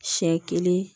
Siɲɛ kelen